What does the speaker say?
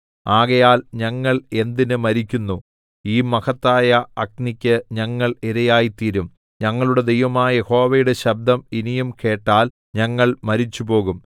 ആകയാൽ ഞങ്ങൾ എന്തിന് മരിക്കുന്നു ഈ മഹത്തായ അഗ്നിക്ക് ഞങ്ങൾ ഇരയായിത്തീരും ഞങ്ങളുടെ ദൈവമായ യഹോവയുടെ ശബ്ദം ഇനിയും കേട്ടാൽ ഞങ്ങൾ മരിച്ചുപോകും